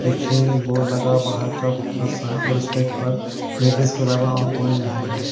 पीछे एक बोर्ड लगा बाहर और स्टेट पर लेडिस के अलावा और कोई नहीं है।